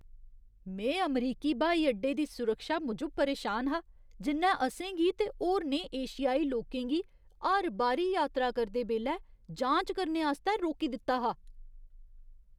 में अमरीकी ब्हाई अड्डे दी सुरक्षा मूजब परेशान हा, जि'न्नै असेंगी ते होरनें एशियाई लोकें गी हर बारी यात्रा करदे बेल्लै जांच करने आस्तै रोकी दित्ता हा।